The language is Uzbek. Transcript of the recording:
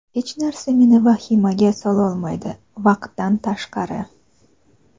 Hech narsa meni vahimaga sololmaydi, vaqtdan tashqari.